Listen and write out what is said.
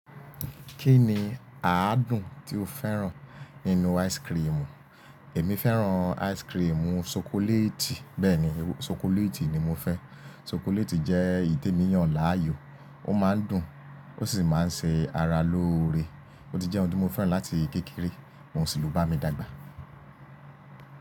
Kí ni àádùn tí o fẹ́ràn nínú ice cream? Èmi fẹ́ràn ice cream chocolate. Bẹ́ẹ̀ni, chocolate ni mo fẹ́. Chocolate jẹ́ eyi témíyàn láàyò, ó máa ń dùn, ó sì máa ń ṣe ara lóore. Ó ti jẹ́ ohun tí mo fẹ́ràn láti kékeré, ohun sì ló bá mi dàgbà.